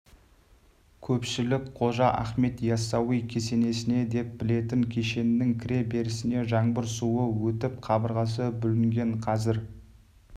көпшілік қожа ахмет яссауи кесенесі деп білетін кешеннің кіре берісіне жаңбыр суы өтіп қабырғасы бүлінген қазір